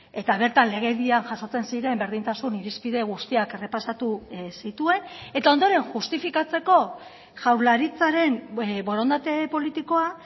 eta bertan legedian jasotzen ziren berdintasun irizpide guztiak errepasatu zituen eta ondoren justifikatzeko jaurlaritzaren borondate politikoa